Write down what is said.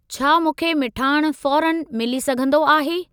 छा मूंखे मिठाण फ़ौरनि मिली सघंदो आहे?